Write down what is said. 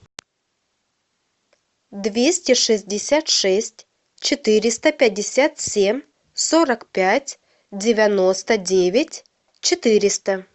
двести шестьдесят шесть четыреста пятьдесят семь сорок пять девяносто девять четыреста